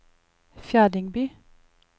Fjerdingby